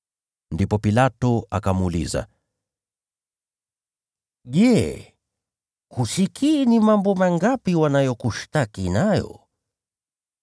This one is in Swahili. Ndipo Pilato akamuuliza, “Je, husikii ni mambo mangapi wanayokushtaki nayo?”